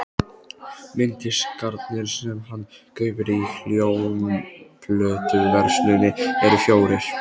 Mynddiskarnir sem hann kaupir í hljómplötuversluninni eru fjórir.